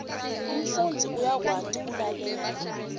umfundzi uyakwati kulalela